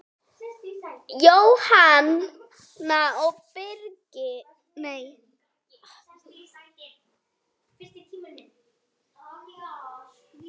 Jóhanna og Birgir.